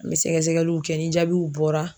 An bɛ sɛgɛsɛgɛliw kɛ ni jaabiw bɔra.